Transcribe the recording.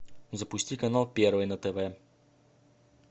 запусти канал первый на тв